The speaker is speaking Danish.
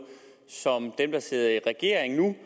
som dem der sidder i regering nu